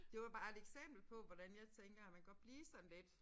Det var bare et eksempel på hvordan jeg tænker at man godt blive sådan lidt